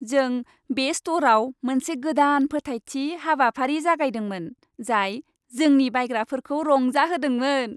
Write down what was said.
जों बे स्ट'रआव मोनसे गोदान फोथायथि हाबाफारि जागायदोंमोन, जाय जोंनि बायग्राफोरखौ रंजाहोदोंमोन।